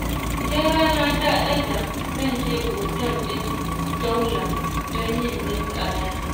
Idan rana ta ɗaga zan je otal ɗin Daula don yin linƙaya.